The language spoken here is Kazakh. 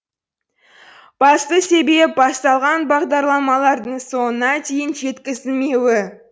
басты себеп басталған бағдарламалардың соңына дейін жеткізілмеуі